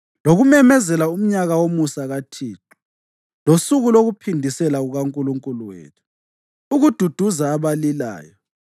lokumemezela umnyaka womusa kaThixo, losuku lokuphindisela kukaNkulunkulu wethu; ukududuza abalilayo,